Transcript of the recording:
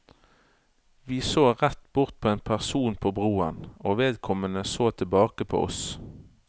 Vi så rett bort på en person på broen, og vedkommende så tilbake på oss.